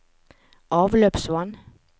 avløpsvann